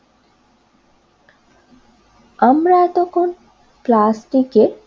আমরা এতক্ষণ প্লাস্টিকের